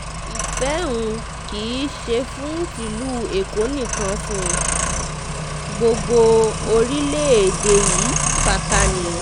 ìfẹ́ um rẹ̀ kì í ṣe fún tìlú èkó nìkan fún um gbogbo orílẹ̀-èdè yìí pátá ni